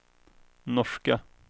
norska